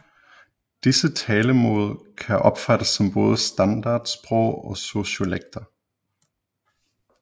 Disse talemål kan opfattes som både standardsprog og sociolekter